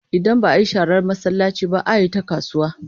Idan ba a yi sharar masallaci ba, a yi ta kasuwa.